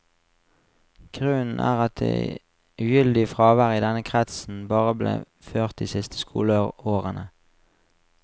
Grunnen er at det ugyldige fraværet i denne kretsen bare ble ført de siste skoleårene.